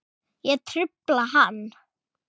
Ég trufla hann.